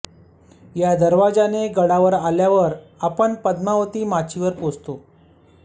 या दरवाजाने गडावर आल्यावर आपण पद्मावती माचीवर पोहचतो